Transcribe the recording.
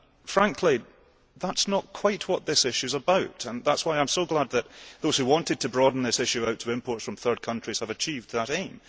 Frankly, that is not quite what this issue is about, and that is why I am so glad that those who wanted to broaden this issue out to imports from third countries have achieved that aim.